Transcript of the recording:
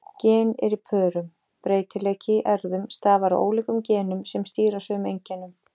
Gen eru í pörum: Breytileiki í erfðum stafar af ólíkum genum sem stýra sömu einkennum.